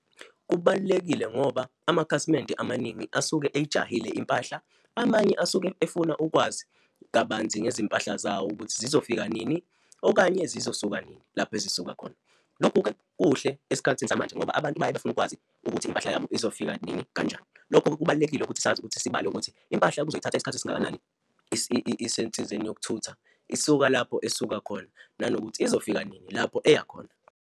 Kubalulekile ngoba amakhasimende amaningi asuke eyijahile impahla, amanye asuke efuna ukwazi kabanzi ngezimpahla zawo, ukuthi zizofika nini, okanye zizosuke nini lapho ezisuka khona. Lokhu-ke kuhle esikhathini samanje ngoba abantu bayafuna ukwazi ukuthi impahla yabo izofika nini, kanjani lokho kubalulekile ukuthi sazi ukuthi sibale ukuthi impahla kuyizothatha isikhathi esingakanani isensizeni yokuthutha, isuka lapho esuka khona, nanokuthi izofika nini lapho eya khona.